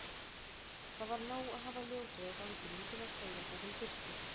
Það var nóg að hafa ljósið á ganginum til að segja það sem þurfti.